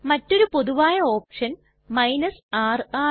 മറ്റൊരു പൊതുവായ option r ആണ്